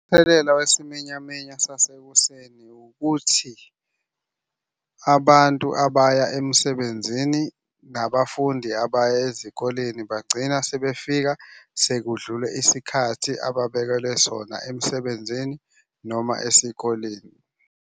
Umthelela wesiminyaminya sasekuseni ukuthi abantu abaya emsebenzini nabafundi abaya ezikoleni bagcina sebefika sekudlule isikhathi ababekelwe sona emsebenzini noma esikoleni.